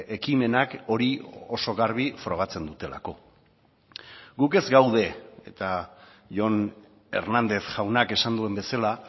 ekimenak hori oso garbi frogatzen dutelako guk ez gaude eta jon hernández jaunak esan duen bezala